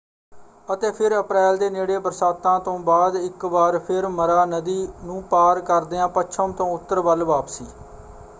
ਅਤੇ ਫਿਰ ਅਪ੍ਰੈਲ ਦੇ ਨੇੜੇ ਬਰਸਾਤਾਂ ਤੋਂ ਬਾਅਦ ਇੱਕ ਵਾਰ ਫਿਰ ਮਰਾ ਨਦੀ ਨੂੰ ਪਾਰ ਕਰਦਿਆਂ ਪੱਛਮ ਤੋਂ ਉੱਤਰ ਵੱਲ ਵਾਪਸੀ।